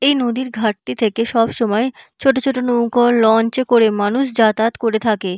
এই নদীর ঘাটটি থেকে সবসময় ছোট ছোট নৌকা লঞ্চে করে মানুষ যাতায়াত করে থাকে।